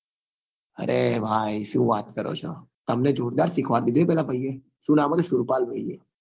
અરે ભાઈ શું વાત કરો છો તમને જોરદાર શીખવાડી દીધી હો પેલા ભાઈ એ શું નામ હતું સુરપાલ ભાઈ એ